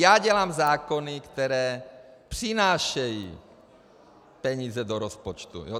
Já dělám zákony, které přinášejí peníze do rozpočtu.